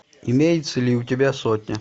имеется ли у тебя сотня